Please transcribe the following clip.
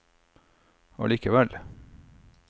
allikevel